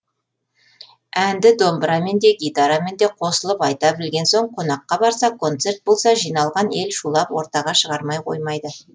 әнді домбырамен де гитарамен де қосылып айта білген соң қонаққа барса концерт болса жиналған ел шулап ортаға шығармай қоймайды